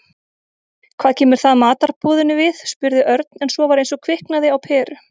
Hvað kemur það matarboðinu við? spurði Örn en svo var eins og kviknaði á peru.